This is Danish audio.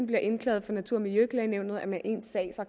bliver indklaget for natur og miljøklagenævnet